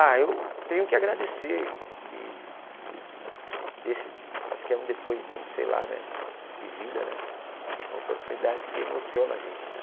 Ah, eu tenho que agradecer, esse acho que é um depoimento, sei lá, né de vida, né é uma oportunidade que emociona a gente né.